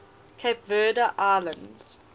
cape verde islands